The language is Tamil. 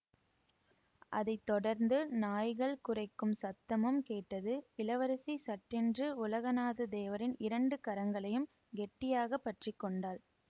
அதை தொடர்ந்து நாய்கள் குரைக்கும் சத்தமும் கேட்டது இளவரசி சட்டென்று உலகநாதத் தேவரின் இரண்டு கரங்களையும் கெட்டியாக பற்றி கொண்டாள்